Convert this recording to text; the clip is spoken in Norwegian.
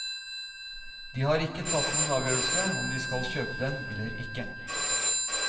De har ikke tatt noen avgjørelse om de skal kjøpe den eller ikke.